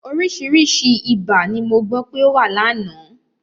Oríṣiríṣi ibà ni mo gbọ́ pé ó wà lánàá.